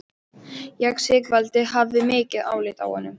Já, Sigvaldi hafði mikið álit á honum.